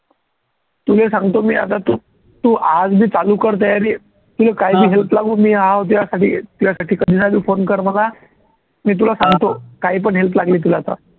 तुले सांगतो मी आता तू तू आ आज बी चालू कर तयारी तुले काही बी help लागू मी आहे तुझ्यासाठी तुझ्यासाठी phone कर मला मी तुला सांगतो काही पण help लागली तुला तर